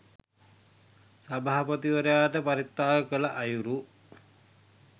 සභාපතිවරයාට පරිත්‍යාග කළ අයුරු.